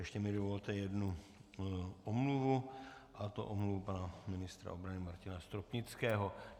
Ještě mi dovolte jednu omluvu, a to omluvu pana ministra obrany Martina Stropnického.